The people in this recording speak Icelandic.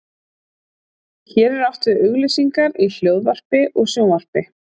Hér er átt við auglýsingar í hljóðvarpi og sjónvarpi.